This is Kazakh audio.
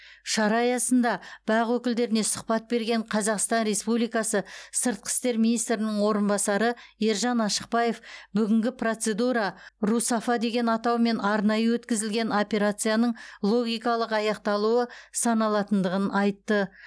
шара аясында бақ өкілдеріне сұхбат берген қазақстан республикасы сыртқы істер министрінің орынбасары ержан ашықбаев бүгінгі процедура русафа деген атаумен арнайы өтізілген операцияның логикалық аяқталуы саналатындығын айтты